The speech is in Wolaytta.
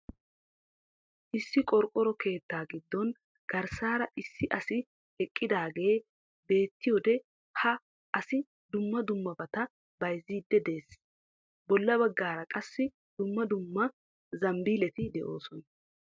Issi qorqoro keettaa giddon garssaara issi asi eqqidaagee beettiyode ha asi dumma dummabaata bayziidi dees. Bolla baggaara qassi dumma dumma zambilleti doosona.